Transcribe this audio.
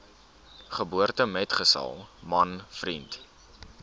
geboortemetgesel man vriend